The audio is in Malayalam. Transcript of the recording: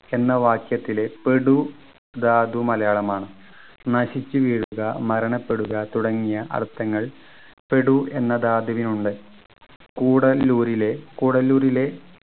എന്ന വാക്യത്തിലെ പെടു ധാതു മലയാളം ആണ് നശിച്ചു വീഴുക മരണപ്പെടുക തുടങ്ങിയ അർത്ഥങ്ങൾ പെടു എന്ന ധാതുവിനുണ്ട് കൂടല്ലൂരിലെ കൂടല്ലൂരിലെ